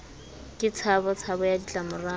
ke tshabo tshabo ya ditlamorao